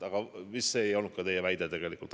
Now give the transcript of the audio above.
Aga see vist ei olnudki teie väide.